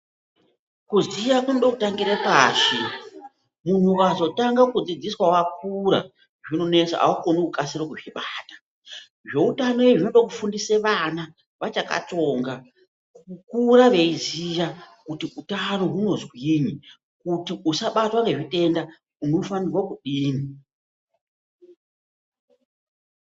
Kuziya kunode kutangire pashi, munhu ukazotange kudzidziswa wakura zvinonesa aaukoni kukasire kuzvibata zvoutano izvi zvode kufundisa vana vachakatsonga kukura veiziya kuti utano hunodini ,kuti usabatwe ngezvitenda unofane kudini?